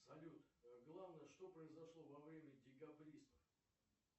салют главное что произошло во время декабристов